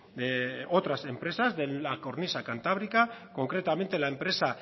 de otras empresas de la cornisa cantábrica concretamente la empresa